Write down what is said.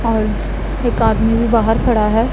और एक आदमी भी बाहर खड़ा है।